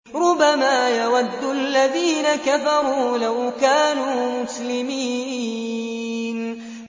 رُّبَمَا يَوَدُّ الَّذِينَ كَفَرُوا لَوْ كَانُوا مُسْلِمِينَ